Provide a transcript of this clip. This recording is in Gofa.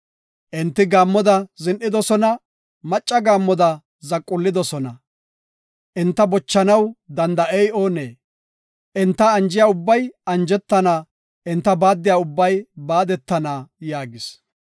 Enti gaammoda zin7idosona; macca gaammoda zaqullidosona; enta boshechanaw danda7ey oonee? Enta anjiya ubbay anjetana; enta baaddiya ubbay baadetana” yaagis.